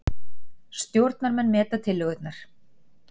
Stjórnarmenn meta tillögurnar